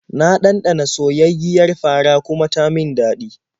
Na ɗanɗana soyayyiyar fara kuma ta min daɗi.